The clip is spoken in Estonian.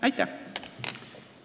Aitäh!